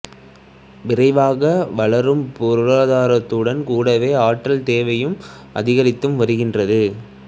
விரைவாக வளரும் பொருளாதாரத்துடன் கூடவே ஆற்றல் தேவையும் அதிகரித்து வருகின்றது